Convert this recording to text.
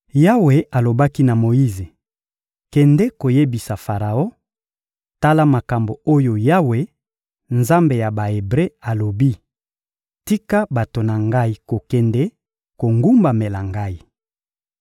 Yawe alobaki na Moyize: «Kende koyebisa Faraon: ‹Tala makambo oyo Yawe, Nzambe ya Ba-Ebre, alobi: ‘Tika bato na Ngai kokende kogumbamela Ngai!’